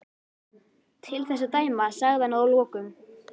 Til þess að dæma sagði hann að lokum.